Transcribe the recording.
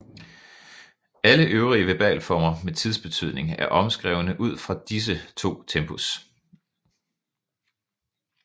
Alle øvrige verbalformer med tidsbetydning er omskrevne ud fra disse to tempus